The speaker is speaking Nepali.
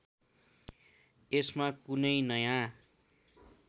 यसमा कुनै नयाँ